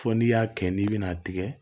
Fɔ n'i y'a kɛ n'i bɛna a tigɛ